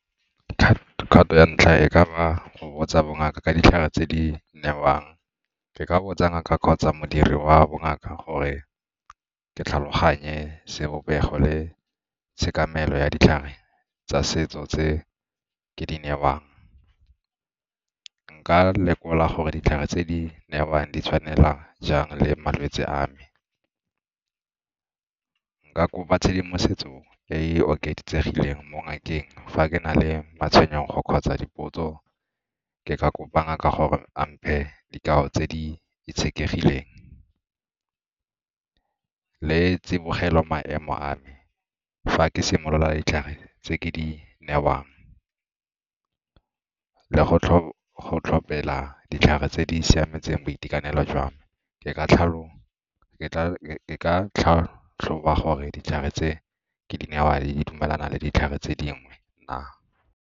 Kgato ya ntlha e ka ba go botsa bongaka ka ditlhare tse di newang, ke ka botsa ngaka kgotsa modiri wa bongaka gore ke tlhaloganye sebopego le tshekamelo ya ditlhare tsa setso tse ke di newang. Nka lekola gore ditlhare tse di newang di tshwanela jang le malwetse a me, nka kopa tshedimosetso e e oketsegileng mo ngakeng fa ke na le matshwenyego kgotsa dipotso ke ka kopa ngaka gore a mphe dikao tse di itshekegileng le tsibogelo maemo a me fa ke simolola ditlhare tse ke di newang. Le go tlhophela ditlhare tse di siametseng boitekanelo jwa me, ke ka tlhatlhoba gore ditlhare tse ke di newang di dumelana le ditlhare tse dingwe na.